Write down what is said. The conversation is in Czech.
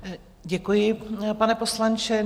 Děkuji, pane poslanče.